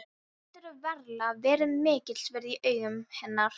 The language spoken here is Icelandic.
Hann getur varla verið mikils virði í augum hennar núna.